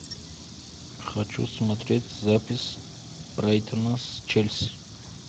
хочу смотреть запись брайтона с челси